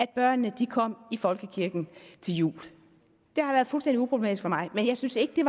at børnene kom i folkekirken til jul det har været fuldstændig uproblematisk men jeg synes ikke det